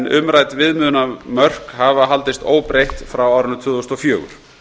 umrædd viðmiðunarmörk hafa haldist óbreytt frá árinu tvö þúsund og fjögur